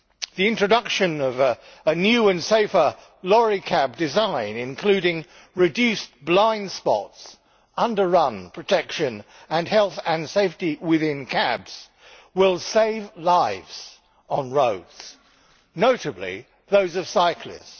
The introduction of a new and safer lorry cab design, including reduced blind spots, underrun protection and health and safety within cabs, will save lives on roads, notably those of cyclists.